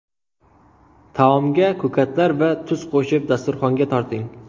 Taomga ko‘katlar va tuz qo‘shib, dasturxonga torting.